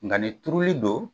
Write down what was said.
Nka ni turuli don